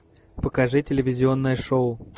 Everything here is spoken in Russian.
покажи телевизионное шоу